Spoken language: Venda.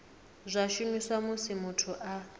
zwa shumiswa musi muthu a